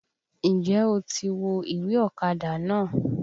N jẹ́ o ti wo ìwé ọ̀kadà náà?